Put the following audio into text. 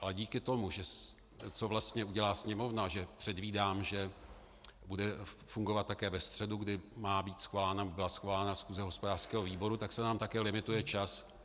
Ale díky tomu, co vlastně udělá Sněmovna, že předvídám, že bude fungovat také ve středu, kdy byla svolána schůze hospodářského výboru, tak se nám také limituje čas.